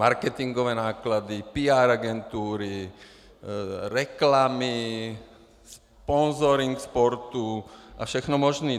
Marketingové náklady, PR agentury, reklamy, sponzoring sportu a všechno možné.